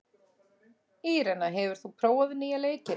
Írena, hefur þú prófað nýja leikinn?